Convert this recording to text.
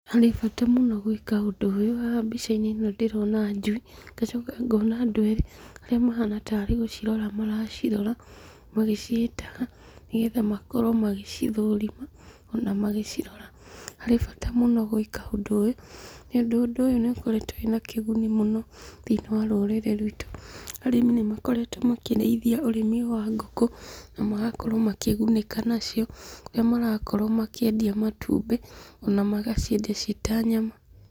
Harĩ bata mũno gwĩka ũndũ ũyũ, haha mbica-inĩ ĩno ndĩrona ndĩrona njui, ngacoka ngona andũ erĩ, arĩa mahana tarĩ gũcirora maracirora, magĩciĩtaga, nĩgetha makorwo magĩcithũrima, ona magĩcirora. Harĩ bata mũno gwĩka ũndũ ũyũ, nĩũndũ ũndũ ũyũ nũkoretwo wĩna kĩguni mũno thĩinĩ wa rũrĩrĩ ruitũ. Arĩmi nĩmakoretwo makĩrĩithia ũrĩmi wa ngũkũ, namagakorwo makĩgunĩka nacio, harĩa marakorwo makĩendia matumbĩ, kana magaciendia ciĩta nyama.